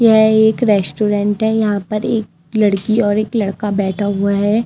यह एक रेस्टोरेंट है यहां पर एक लड़की और एक लड़का बैठा हुआ है।